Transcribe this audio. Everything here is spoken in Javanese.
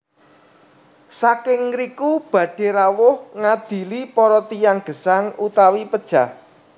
Saking ngriku badhé rawuh ngadili para tiyang gesang utawi pejah